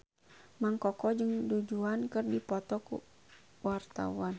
Mang Koko jeung Du Juan keur dipoto ku wartawan